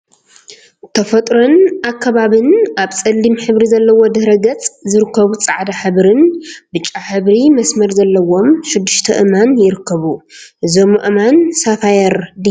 ተፈጥሮን አከባቢን አብ ፀሊም ሕብሪ ዘለዎ ድሕረ ገፅ ዝርከቡ ፃዕዳ ሕብሪን ብጫ ሕብሪ መስመር ዘለዎም ሽድሽተ አእማን ይርከቡ፡፡ እዞም አእማን ሳፋየር ድዮም?